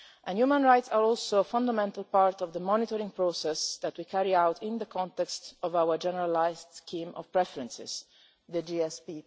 Human rights are also a fundamental part of the monitoring process that we carry out in the context of our generalised scheme of preferences, the GSP.